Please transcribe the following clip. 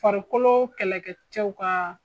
Farikolo kɛlɛkɛ cɛw ka